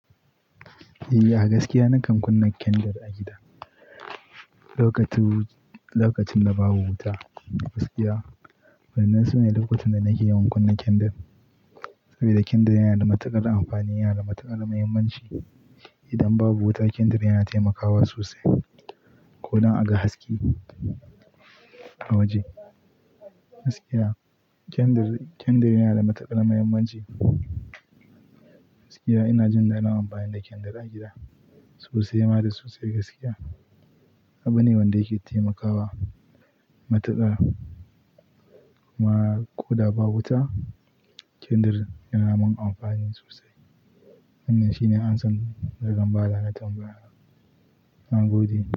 Eh, a gaskiya nakan kunna kendir a gida. Lokacin da babu wuta gaskiya, wannan sune lokacin da nake yawan kunna kendir. Saboda kendir yana da matuƙar amfani, yana da matuƙar muhimmanci. Idan babu wuta kendir yana taimakawa sosai ko dab aga haske a waje. Gaskiya kendir, kendir yana da matuƙar muhimmanci. Gaskiya ina jin daɗin amfani da kendir a gida sosai ma da sosai gaskiya. Abu ne wanda yake taimakawa matuƙa kuma ko da babu wuta kendir yana mun amfani sosai. Wannan shine amsar da zan ba da tamabayar. Na gode.